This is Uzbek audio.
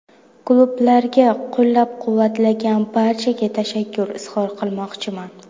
Klublarga, qo‘llab-quvvatlagan barchaga tashakkur izhor qilmoqchiman.